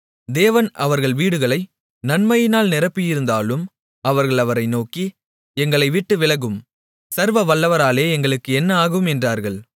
தேவன் அவர்கள் வீடுகளை நன்மையால் நிரப்பியிருந்தாலும் அவர்கள் அவரை நோக்கி எங்களைவிட்டு விலகும் சர்வவல்லவராலே எங்களுக்கு என்ன ஆகும் என்றார்கள்